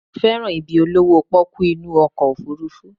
Mo fẹ́ràn ibi olówó pọ́kú inú ọkọ̀ òfurufú